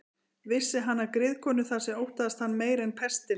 Vissi hann af griðkonu þar sem óttaðist hann meira en pestina.